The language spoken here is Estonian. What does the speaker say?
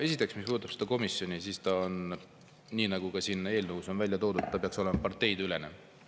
Esiteks, mis puudutab seda komisjoni, siis ta, nii nagu ka siin eelnõus on välja toodud, peaks olema parteideülene.